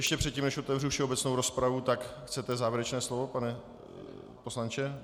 Ještě předtím, než otevřu všeobecnou rozpravu, tak chcete závěrečné slovo, pane poslanče?